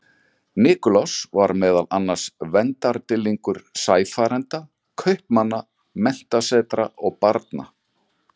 Nikulás var meðal annars verndardýrlingur sæfarenda, kaupmanna, menntasetra og barna.